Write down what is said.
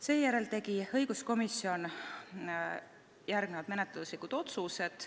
" Seejärel tegi õiguskomisjon menetluslikud otsused.